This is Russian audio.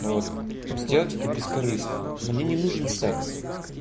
вот сделать это бескорыстно мне не нужен секс